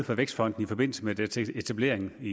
for vækstfonden i forbindelse med dens etablering i